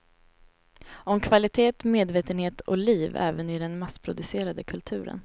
Om kvalitet, medvetenhet och liv även i den massproducerade kulturen.